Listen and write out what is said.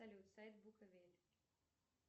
салют сайт буковель